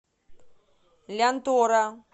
лянтора